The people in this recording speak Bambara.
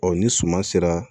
ni suma sera